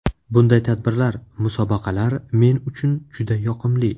Bunday tadbirlar, musobaqalar men uchun juda yoqimli.